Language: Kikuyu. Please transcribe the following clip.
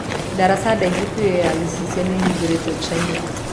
Daraca ndaihu biũ ya gicicio niihingũrituo China